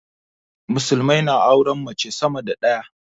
musulmai na auren mace sama da daya